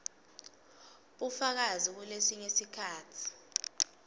bufakazi kulesinye sikhatsi